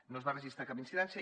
no es va registrar cap incidència